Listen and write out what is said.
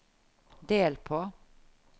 del på